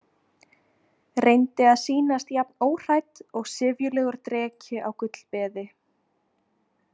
Reyndi að sýnast jafn óhrædd og syfjulegur dreki á gullbeði.